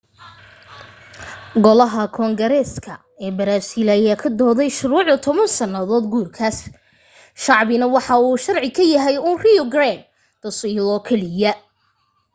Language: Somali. golaha koongareeksa ee baraasiil ayaa ka doodayay shuruucda 10 sannadood guurkaas shacbina waxa uu sharci ka yahay uun rio grande do sul oo keliya